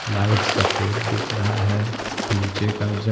light सफेद दिख रहा है नीचे का--